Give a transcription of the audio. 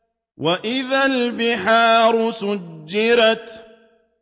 وَإِذَا الْبِحَارُ سُجِّرَتْ